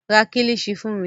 Ra Kílíṣí fún mi